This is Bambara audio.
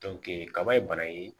kaba ye bana ye